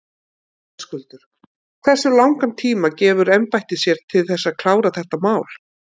Höskuldur: Hversu langan tíma gefur embættið sér til þess að klára þetta mál?